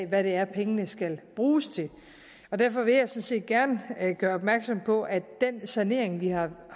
hvad det er pengene skal bruges til derfor vil jeg sådan set gerne gøre opmærksom på at den sanering vi har